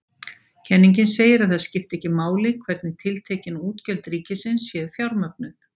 Kenningin segir að það skipti ekki máli hvernig tiltekin útgjöld ríkisins séu fjármögnuð.